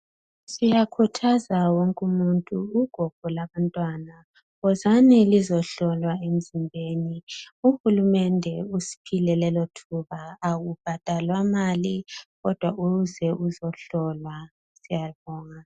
Siyakhuthaza wonke umuntu ugogo labantwana uhulumende wozani lizohlolwa emzimbeni uhulumende usiphile lelo thuba akubhadalwa mali ,kodwa uze uzohlolwa , siyabonga.